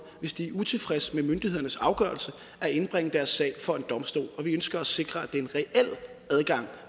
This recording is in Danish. hvis de er utilfreds med myndighedernes afgørelse at indbringe deres sag for en domstol og vi ønsker at sikre at det er en reel adgang